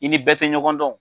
I ni bɛɛ tɛ ɲɔgɔn dɔn.